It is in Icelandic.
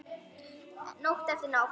Nótt eftir nótt.